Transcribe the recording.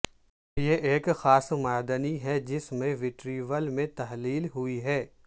یہ ایک خاص معدنی ہے جس میں وٹریول میں تحلیل ہوئی ہے